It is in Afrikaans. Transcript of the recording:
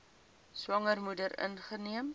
swanger moeder ingeneem